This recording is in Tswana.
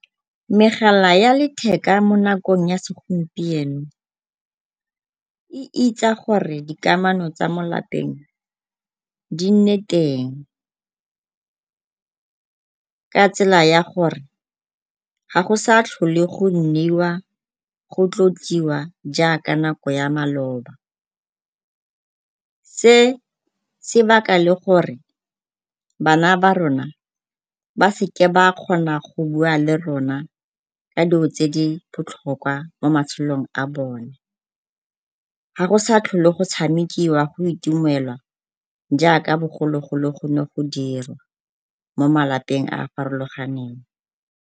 Megala ya letheka mo nakong ya segompieno e gore dikamano tsa mo lapeng di nne teng ka tsela ya gore ga go sa tlhole go nniwa, go tlotliwa jaaka nako ya maloba. Se se baka le gore bana ba rona ba seke ba kgona go bua le rona ka dilo tse di botlhokwa mo matshelong a bone. Ga go sa tlhole go tshamekiwa, go itumelwa jaaka bogologolo go ne go dirwa mo malapeng a a farologaneng.